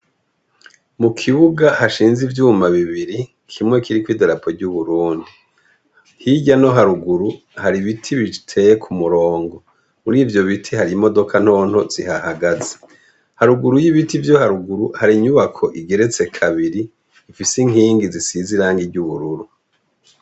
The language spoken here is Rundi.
Mu kibuga hashinze ivyuma bibiri kimwe kiri ko'idarapo ry'uburundi hirya no haruguru hari ibiti biteye ku murongo muri ivyo biti hari imodoka ntonto zihahagaze haruguru y'ibiti vyo haruguru hari inyubako igeretse kabiri ifise inkingi zisiziranga ry'ubururu.